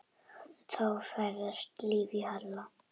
Það færðist líf í Halla.